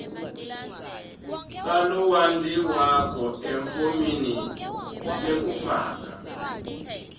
salowondliwako efomini lekufaka